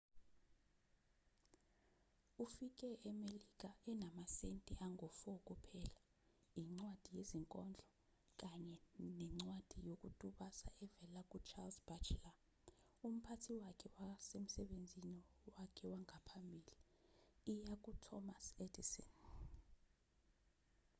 ufike emelika enamasenti angu-4 kuphela incwadi yezinkondlo kanye nencwadi yokutusa evela ku-charles batchelor umphathi wakhe wasemsebenzini wakhe wangaphambili iya kuthomas edison